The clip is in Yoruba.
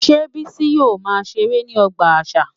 Ṣé Bisi yóò máa ṣeré ní ọgbà àṣà?